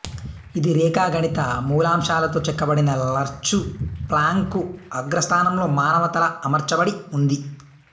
ఇది రేఖాగణిత మూలాంశాలతో చెక్కబడిన లర్చు ప్లాంకు అగ్రస్థానంలో మానవ తల అమర్చబడి ఉంది